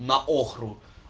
на охру